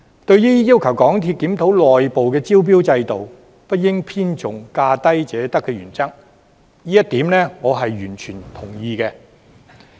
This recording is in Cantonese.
對於要求港鐵公司檢討內部招標制度，不應偏重價低者得的原則，這一點我是完全同意的。